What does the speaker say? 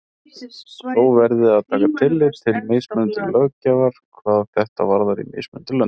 Þó verði að taka tillit til mismunandi löggjafar hvað þetta varðar í mismunandi löndum.